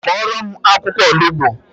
Fọrọ m akwụkwọ olugbo